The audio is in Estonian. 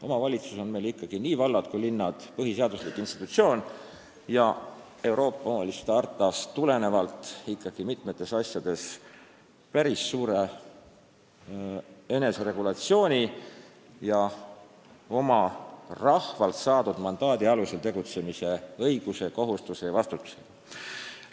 Omavalitsus, nii vallad kui ka linnad, on meil ikkagi põhiseaduslik institutsioon ning Euroopa kohaliku omavalitsuse hartast tulenevalt on omavalitsus mitmetes asjades päris suure eneseregulatsiooni ja rahvalt saadud mandaadi alusel tegutsemise õiguse ja kohustuse ning sellest tuleneva vastutusega.